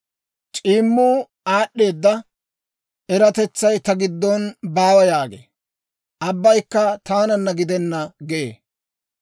C'iimmuu, ‹Aad'd'eeda eratetsay ta giddon baawa› yaagee; Abbaykka taananna gidena gee.